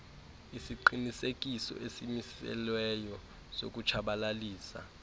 isiqinisekiso esimiselweyo sokutshabalalisa